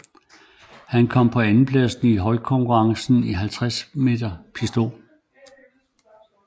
Han kom på en andenplads i holdkonkurrencen i 50 m pistol